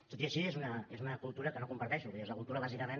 tot i així és una cultura que no comparteixo vull dir és la cultura bàsicament